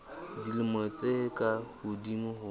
dilemo tse ka hodimo ho